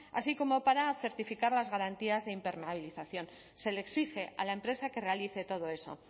así como para certificar las garantías de impermeabilización se le exige a la empresa que realice todo eso